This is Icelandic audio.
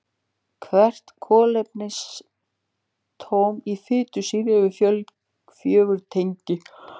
Hvert kolefnisatóm í fitusýru hefur fjögur tengi.